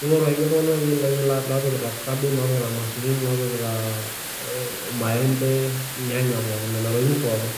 ningoru iltung'ana loopikita irmasurin, irnyanya ,irmaembe nena tokitin pookin.